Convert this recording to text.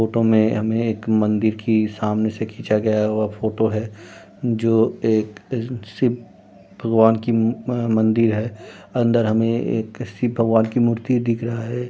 Photo में हमें एक मंदिर की सामने से खिंचा गया हुआ फोटो है जो एक शिव भगवान की मंदिर है अंदर हमें एक शिव भगवान का मूर्ति दिख रहा है।